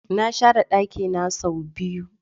Na share dakina sau biyu.